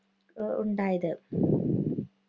ഉ~ഉണ്ടായത്.